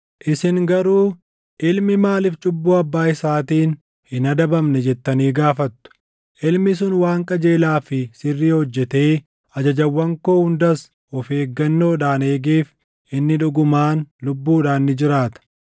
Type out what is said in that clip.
“Isin garuu, ‘Ilmi maaliif cubbuu abbaa isaatiin hin adabamne?’ jettanii gaafattu. Ilmi sun waan qajeelaa fi sirrii hojjetee ajajawwan koo hundas of eeggannoodhaan eegeef inni dhugumaan lubbuudhaan ni jiraata.